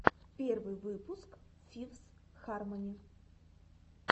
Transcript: первый выпуск фифс хармони